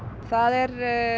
það er